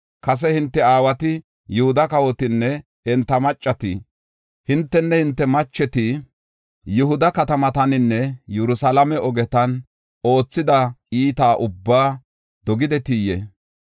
Kase hinte aawati, Yihuda kawotinne enta macheti, hintenne hinte macheti Yihuda katamataninne Yerusalaame ogetan oothida iita ubbaa dogidetiyee?